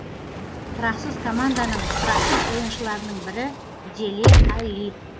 тұрақсыз команданың тұрақсыз ойыншыларының бірі деле алли